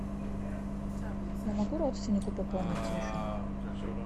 я могу родственнику пополнить телефон